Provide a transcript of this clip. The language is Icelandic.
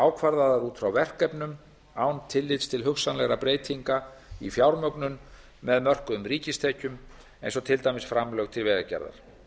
ákvarðaðar út frá verkefnum án tillits til hugsanlegra breytinga í fjármögnun með mörkuðum ríkistekjum eins og til dæmis framlög til vegagerðar